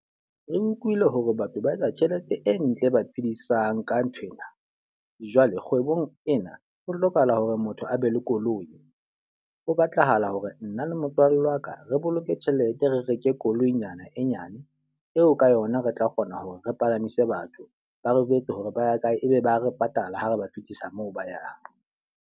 Re utlwile hore batho ba etsa tjhelete e ntle e ba phedisang ka nthwena. Jwale kgwebong ena, ho hlokahala hore motho a be le koloi. Ho batlahala hore nna le motswalle wa ka, re boloke tjhelete re reke koloinyana e nyane. Eo ka yona re tla kgona hore re palamise batho ba re jwetse hore ba ya kae, e be ba re patala ha re ba fihlisa moo ba yang.